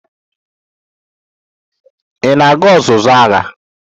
Ị na-aga ọzụzụ agha?